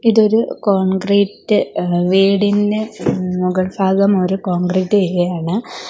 ഇതൊരു കോൺക്രീറ്റ് ഏഹ് വീടിന് ഏഹ് മുകൾഭാഗം അവര് കോൺക്രീറ്റ് ചെയ്യാണ്.